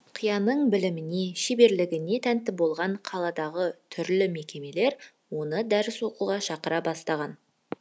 қарияның біліміне шеберлігіне тәнті болған қаладағы түрлі мекемелер оны дәріс беруге шақыра бастаған